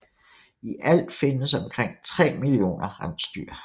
I alt findes omkring 3 millioner rensdyr